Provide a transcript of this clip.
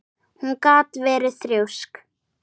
Hún gat verið þrjósk.